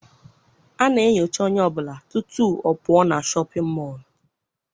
A na-enyocha onye ọbụla tutu ọ pụọ na shọpịn mọọ.